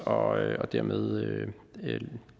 og dermed